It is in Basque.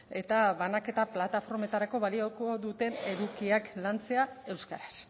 eta banaketa plataformetarako balioko duten edukiak lantzea euskaraz